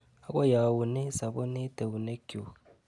Akoi aune sabunit eunekchu.